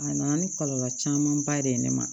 A nana ni kɔlɔlɔ camanba de ye ne ma